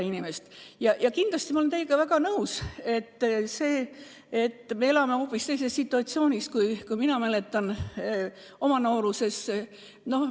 Ma olen kindlasti teiega väga nõus, et me elame hoopis teises situatsioonis, kui mina mäletan oma noorusest.